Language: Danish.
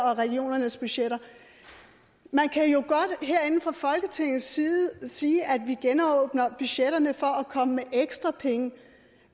og regionernes budgetter man kan jo godt herinde fra folketingets side sige at vi genåbner budgetterne for at komme med ekstra penge